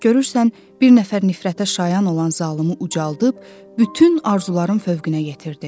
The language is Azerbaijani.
Görürsən bir nəfər nifrətə şayan olan zalımı ucaldıb, bütün arzuların fövqünə yetirdi.